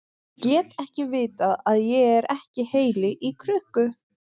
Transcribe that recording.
Ég get ekki vitað að ég er ekki heili í krukku.